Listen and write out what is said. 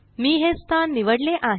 मी हे स्थान निवडले आहे